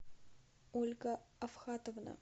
ольга авхатовна